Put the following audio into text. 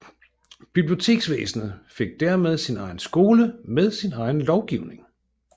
Biblioteksvæsenet fik dermed sin egen skole med sin egen lovgivning